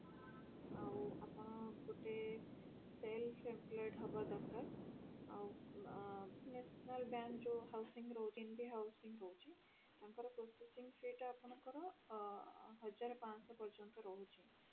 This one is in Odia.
ଆଉ ଆପଣ ଗୋଟେ sales employed ହବା ଦରକାର ଆଉ ଆ national bank ଯୋଉ housing ରହୁଛି ଏମିତି housing ରହୁଛି ତାଙ୍କର processing fee ଟା ଆପଣଙ୍କର ହଜାରେ ପାଂଶହ ପର୍ଯ୍ୟନ୍ତ ରହୁଛି